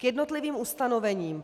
K jednotlivým ustanovením.